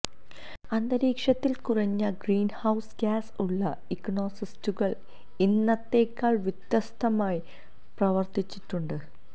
അന്തരീക്ഷത്തിൽ കുറഞ്ഞ greenhouse gas ഉള്ള ഇക്കോസിസ്റ്റുകൾ ഇന്നത്തെക്കാൾ വ്യത്യസ്തമായി പ്രവർത്തിച്ചിട്ടുണ്ട്